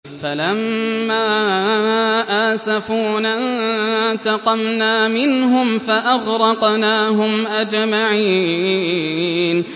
فَلَمَّا آسَفُونَا انتَقَمْنَا مِنْهُمْ فَأَغْرَقْنَاهُمْ أَجْمَعِينَ